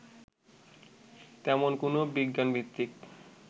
তেমন কোনো বিজ্ঞানভিত্তিক